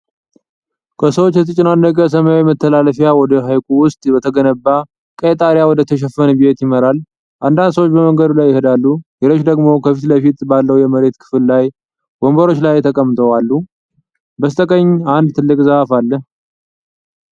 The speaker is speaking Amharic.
ከሰዎች የተጨናነቀ ሰማያዊ መተላለፊያ ወደ ሐይቁ ውስጥ በተገነባ ቀይ ጣሪያ ወደተሸፈነ ቤት ይመራል። አንዳንድ ሰዎች በመንገዱ ላይ ይሄዳሉ፤ ሌሎች ደግሞ ከፊት ለፊት ባለው የመሬት ክፍል ላይ ወንበሮች ላይ ተቀምጠው አሉ። በስተቀኝ አንድ ትልቅ ዛፍ አለ።